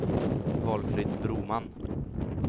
Valfrid Broman